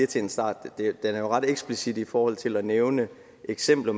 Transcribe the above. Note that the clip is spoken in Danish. til en start den er jo ret eksplicit i forhold til at nævne eksempler